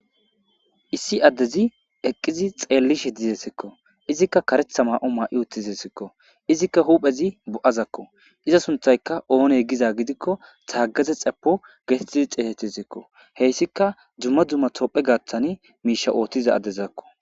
Issi addezi eqqizi xeellishe dizesikko izikka karetha ma'o maa' uttizesikko izikka huphezi bo'azakk iza sunthayka oone giza gidikko saagaze xepo gesetizi xeehetizikko heyssika jumma dumma topphe gaaththan miisha oothtiza addezakko.